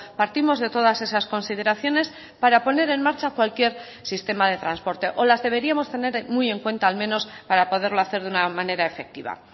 partimos de todas esas consideraciones para poner en marcha cualquier sistema de transporte o las deberíamos tener muy en cuenta al menos para poderlo hacer de una manera efectiva